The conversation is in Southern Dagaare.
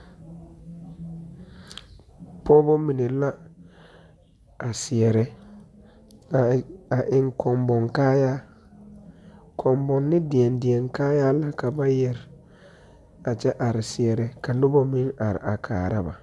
pɔgeba mine la a seɛre, a eŋ kɔmbonkaayaa, kɔmboni deɛŋ deɛŋ kaayaa la ka ba yɛre a kyɛ are seɛre ka noba meŋ are a kaara ba.